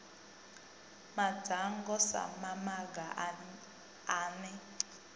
madzhango sa mamaga a ne